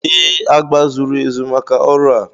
Ee, agba zuru ezu maka ọrụ a